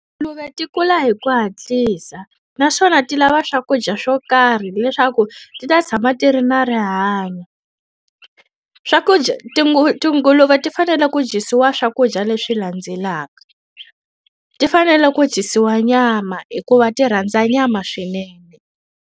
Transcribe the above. Tinguluve ti kula hi ku hatlisa, naswona ti lava swakudya swo karhi leswaku ti ta tshama ti ri na rihanyo. Swakudya tinguluve ti fanele ku dyisiwa swakudya leswi landzelaka. Ti fanele ku dyisiwa nyama hikuva ti rhandza nyama swinene.